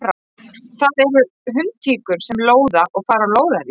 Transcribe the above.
Það eru hundtíkur sem lóða og fara á lóðarí.